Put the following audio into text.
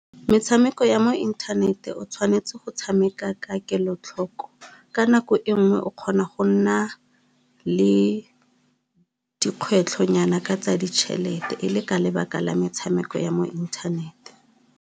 Metshameko ya mo inthaneteng o tshwanetse go tshameka ka kelotlhoko, ka nako e nngwe o kgona go nna le dikgwetlho nyana ka tsa ditšhelete e le ka lebaka la metshameko ya mo inthanete.